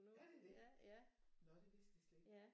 Er det det nå det vidste jeg slet ikke